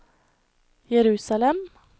Jerusalem